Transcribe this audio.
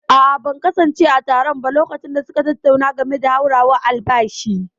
a'a, ban kasance a taron ba lokacin da suka tattauna game da hauhawar albashi